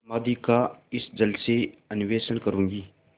समाधि का इस जल से अन्वेषण करूँगी